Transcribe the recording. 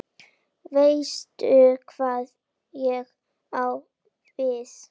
Veistu hvað ég á við?